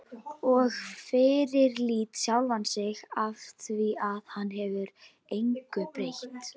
Og fyrirlíti sjálfan sig afþvíað hann getur engu breytt.